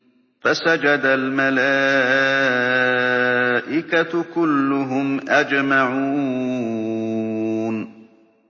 فَسَجَدَ الْمَلَائِكَةُ كُلُّهُمْ أَجْمَعُونَ